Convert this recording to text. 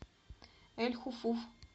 эль хуфуф